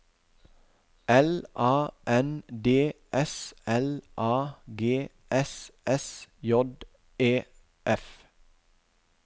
L A N D S L A G S S J E F